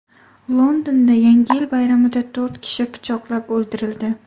Londonda Yangi yil bayramida to‘rt kishi pichoqlab o‘ldirildi.